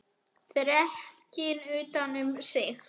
Þrekinn utan um sig.